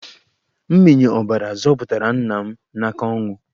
Mmịnye ọbara zọpụtara nna m n'aka ọnwụ.